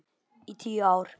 Í tíu ár.